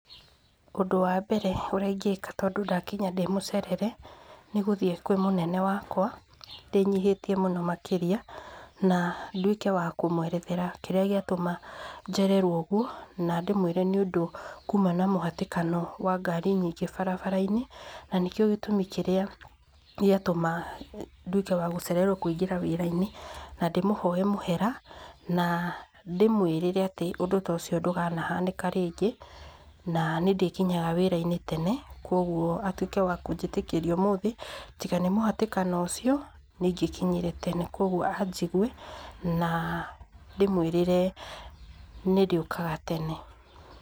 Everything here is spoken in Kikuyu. Ũndũ wa mbere ũrĩa ingĩka tondũ ndagikanya ndĩmũcerere nĩ gũthiĩ kwĩ mũnene wakwa ndĩnyihĩtie mũno makĩrĩa na ndũĩke wa kũmwerethera kĩrĩa gĩatũma njererwo ũgũo na ndĩmwĩre nĩ ũndũ kũma na mũhatĩkano wa ngari nyingĩ barabara-inĩ na nĩkĩo gĩtũmi kĩrĩa gĩatũma ndũĩke wa gũcererwo kũingĩra wĩra-inĩ na ndĩmũhoe mũhera na ndĩmwĩrĩre ũndũ ta ũcio ndukanahanĩka rĩngĩ na nĩ ndĩkĩnyaga wĩra-inĩ tene kogũo atũĩke wa kũnjĩtĩkĩria ũmũthe tiga nĩ mũhatĩkano ũcio nĩ ingĩkinyire tene kogũo anjigũe na ndĩmwĩrĩre nĩ ndĩũkaga tene.